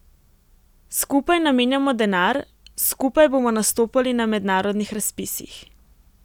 Skupaj namenjamo denar, skupaj bomo nastopali na mednarodnih razpisih.